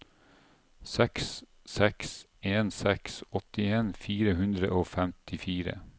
seks seks en seks åttien fire hundre og femtifire